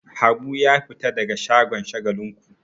Habu ya fita daga shagon Shagalinku.